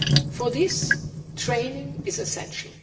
For this, training is essential.